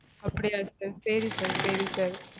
அப்படியா sir? சரி sir சரி sir